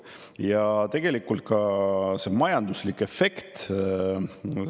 Ja see majanduslik efekt.